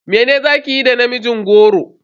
Mene za kayi da namijin goro?